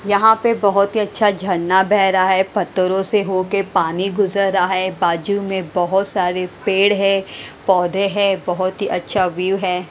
यहां पे बहोत ही अच्छा झरना बह रहा है। पत्थरो से होके पानी गुजर रहा है बाजू मे बहोत सारे पेड़ है। पौधे है बहोत ही अच्छा व्यू है।